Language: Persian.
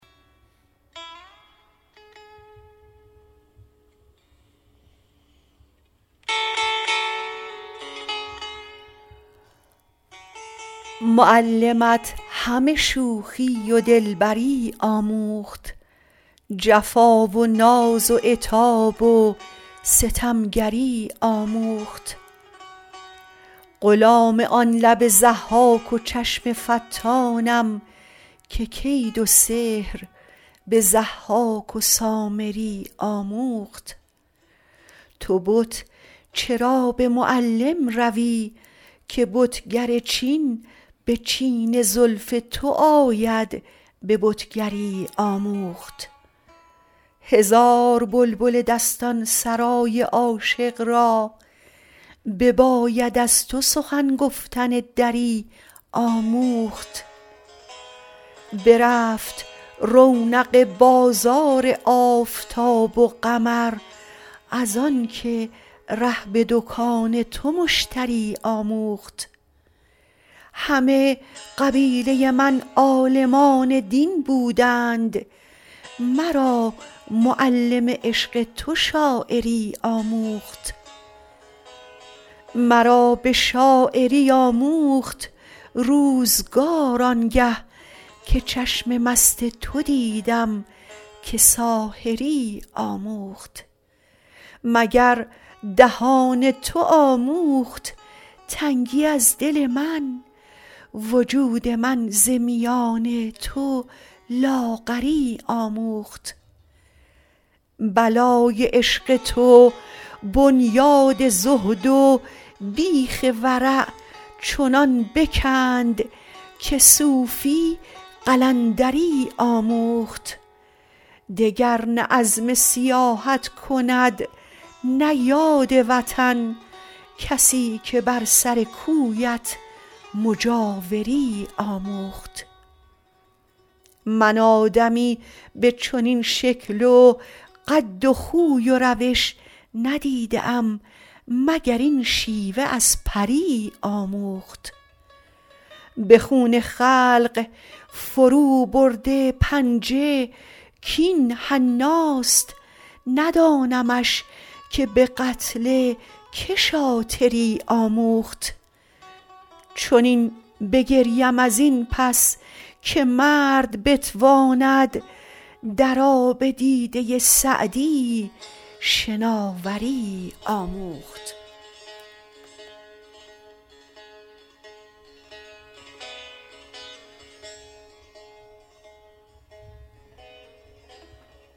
معلمت همه شوخی و دلبری آموخت جفا و ناز و عتاب و ستمگری آموخت غلام آن لب ضحاک و چشم فتانم که کید سحر به ضحاک و سامری آموخت تو بت چرا به معلم روی که بتگر چین به چین زلف تو آید به بتگری آموخت هزار بلبل دستان سرای عاشق را بباید از تو سخن گفتن دری آموخت برفت رونق بازار آفتاب و قمر از آن که ره به دکان تو مشتری آموخت همه قبیله من عالمان دین بودند مرا معلم عشق تو شاعری آموخت مرا به شاعری آموخت روزگار آن گه که چشم مست تو دیدم که ساحری آموخت مگر دهان تو آموخت تنگی از دل من وجود من ز میان تو لاغری آموخت بلای عشق تو بنیاد زهد و بیخ ورع چنان بکند که صوفی قلندری آموخت دگر نه عزم سیاحت کند نه یاد وطن کسی که بر سر کویت مجاوری آموخت من آدمی به چنین شکل و قد و خوی و روش ندیده ام مگر این شیوه از پری آموخت به خون خلق فروبرده پنجه کاین حناست ندانمش که به قتل که شاطری آموخت چنین بگریم از این پس که مرد بتواند در آب دیده سعدی شناوری آموخت